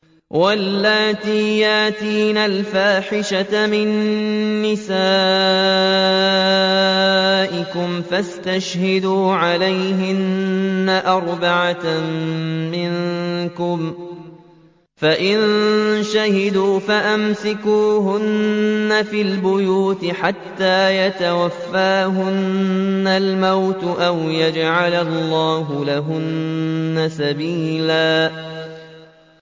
وَاللَّاتِي يَأْتِينَ الْفَاحِشَةَ مِن نِّسَائِكُمْ فَاسْتَشْهِدُوا عَلَيْهِنَّ أَرْبَعَةً مِّنكُمْ ۖ فَإِن شَهِدُوا فَأَمْسِكُوهُنَّ فِي الْبُيُوتِ حَتَّىٰ يَتَوَفَّاهُنَّ الْمَوْتُ أَوْ يَجْعَلَ اللَّهُ لَهُنَّ سَبِيلًا